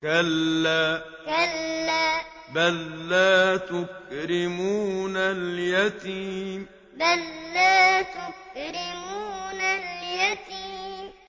كَلَّا ۖ بَل لَّا تُكْرِمُونَ الْيَتِيمَ كَلَّا ۖ بَل لَّا تُكْرِمُونَ الْيَتِيمَ